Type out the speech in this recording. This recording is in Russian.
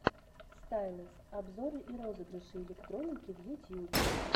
стайлэс обзоры и розыгрыши электроники в ютьюбе